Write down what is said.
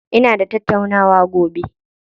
Ina da tattaunawa gobe.